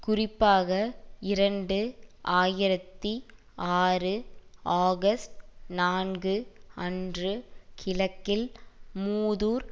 குறிப்பாக இரண்டு ஆயிரத்தி ஆறு ஆகஸ்ட் நான்கு அன்று கிழக்கில் மூதூர்